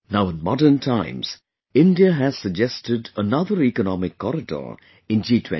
Now in modern times, India has suggested another Economic Corridor in G20